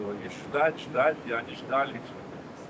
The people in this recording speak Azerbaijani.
Və gözlə, gözlə və gözlədilər.